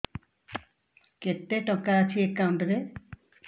କେତେ ଟଙ୍କା ଅଛି ଏକାଉଣ୍ଟ୍ ରେ